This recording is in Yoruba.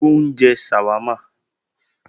Ó ń jẹ ṣàwámà